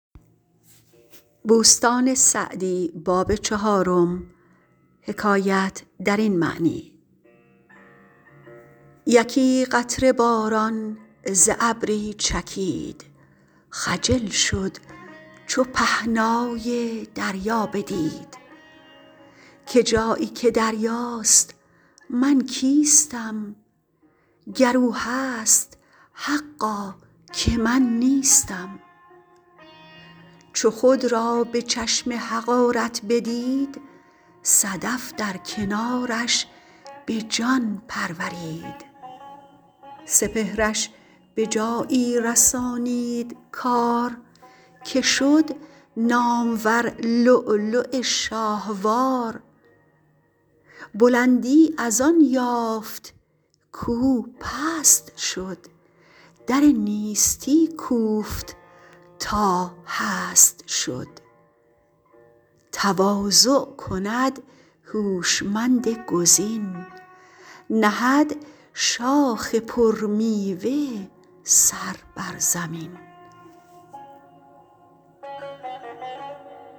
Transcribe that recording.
یکی قطره باران ز ابری چکید خجل شد چو پهنای دریا بدید که جایی که دریاست من کیستم گر او هست حقا که من نیستم چو خود را به چشم حقارت بدید صدف در کنارش به جان پرورید سپهرش به جایی رسانید کار که شد نامور لؤلؤ شاهوار بلندی از آن یافت کاو پست شد در نیستی کوفت تا هست شد تواضع کند هوشمند گزین نهد شاخ پر میوه سر بر زمین